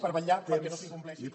per vetllar perquè no s’incompleixi